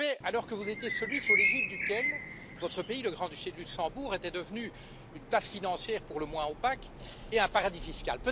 Je l'ai fait alors que vous étiez celui sous l'égide duquel votre pays, le Grand Duché de Luxembourg, était devenu une place financière pour le moins opaque et un paradis fiscal.